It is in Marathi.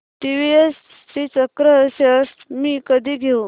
टीवीएस श्रीचक्र शेअर्स मी कधी घेऊ